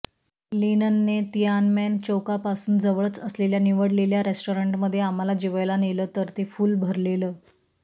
लिनने Tiananmen चौकापासून जवळच असलेल्या निवडलेल्या रेस्टॉरन्टमधे आम्हाला जेवायला नेलं तर ते फ़ुल भरलेलं